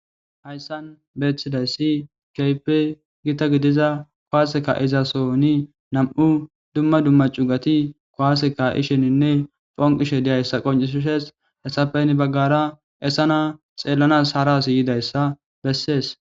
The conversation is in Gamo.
hayssan beeththidayssi keype gita gidiza kowaaseka izasoni nam7u dumma dumma cugati kowaaseka isheninne ponqishe diyayssa qoncisishes esapeyn baggara esana xeellanas haras yidayssa bessees